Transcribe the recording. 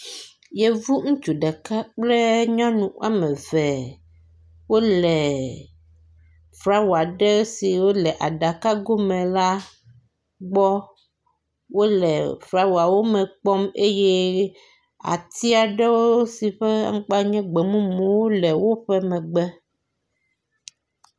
Yevu ŋutsu ɖeka kple nyɔnu wɔme eve wo le flawa ɖe si wo le aɖakago me la gbɔ. Wo le flawawo me kpɔm eye ati aɖewo si ƒe aŋkpa nye gbemumu le woƒe megbe.